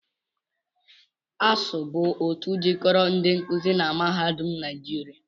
ASUU bụ otu jikoro ndi nkuzi na mahadum naịjịria